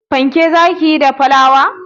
Fanke za ki yi da flawar?